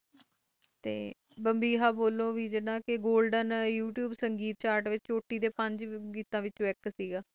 ਬੰਬਹਾ ਬੋਲੇ ਜਿੰਦਾ ਕਿ ਗੋਲਡਨ ਯੂ ਤੂੰਬੇ ਸੰਗੀਤ ਕੋਟਿ ਡੇ ਪਾਛੈ ਗੀਤ ਵਿੱਚੋ ਇਕ ਸੀ